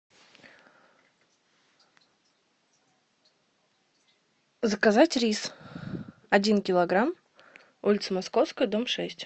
заказать рис один килограмм улица московская дом шесть